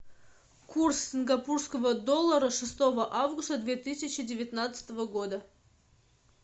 курс сингапурского доллара шестого августа две тысячи девятнадцатого года